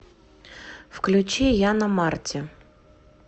включи яна марти